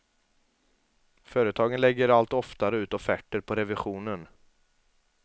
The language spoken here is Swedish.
Företagen lägger allt oftare ut offerter på revisionen.